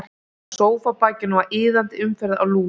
Á sófabakinu var iðandi umferð af lús.